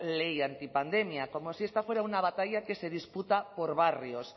ley antipandemia como si esto fuera una batalla que se disputa por barrios